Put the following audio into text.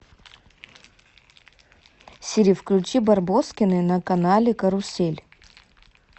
сири включи барбоскины на канале карусель